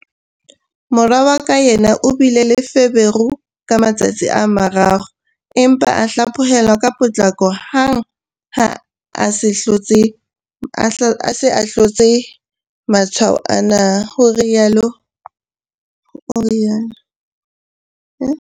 "Mora wa ka yena o bile le feberu ka matsatsi a mararo, empa a hlaphohelwa ka potlako hang ha a se a hlotse matshwao ana," o rialo.